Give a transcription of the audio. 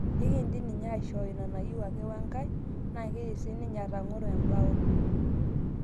Ekindim ninye aishoo ina niyeu oe kae ake naa keidim sininye atong'oro embao.